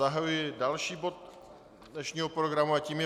Zahajuji další bod dnešního programu a tím je